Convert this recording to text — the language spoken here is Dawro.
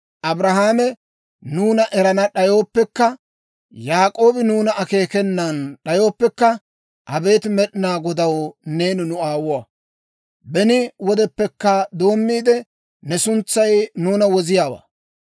Abrahaame nuuna erana d'ayooppekka, Yaak'oobi nuuna akeekenan d'ayooppekka, abeet Med'inaa Godaw, neeni nu aawuwaa. Beni wodeppekka doommiide, ne suntsay nuuna woziyaawaa.